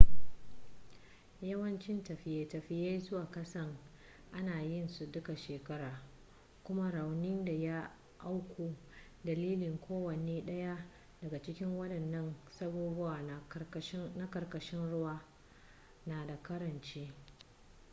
yawancin tafiye-tafiye zuwa kasan ana yin su duka shekara kuma raunin da ya auku dalilin kowane dayan daga cikin wadannan sabubba na karkashin ruwa na da karanci